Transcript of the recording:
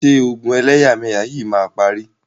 Ṣé ogun ẹlẹ́yàmẹyà yìí máa parí?